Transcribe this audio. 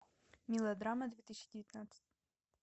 мелодрама две тысячи девятнадцать